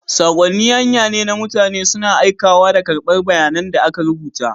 Saƙonni hanya ne na mutane suna aikawa da karɓar bayanan da aka rubuta.